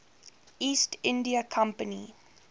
east india company